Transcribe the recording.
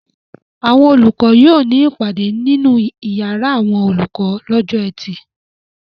Àwọn olùkọ́ yóò ní ìpàdé nínú ìyàrá àwọn olùkọ́ lọ́jọ́ ẹtì.